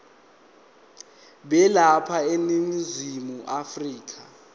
balapha eningizimu afrika